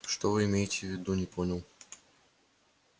что вы имеете в виду не понял